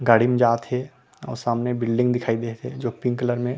गाड़ी में जात हे अऊ सामने में बिल्डिंग दिखाई देत हे जो पिंक कलर मे --